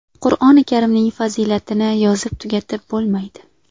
Qur’oni karimning fazilatini yozib tugatib bo‘lmaydi.